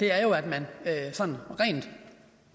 er jo at man sådan rent